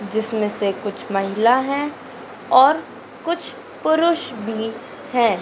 जिसमें से कुछ महिला है और कुछ पुरुष भी हैं।